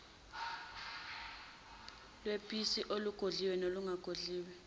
lweposi olugodliwe nolungagodliwe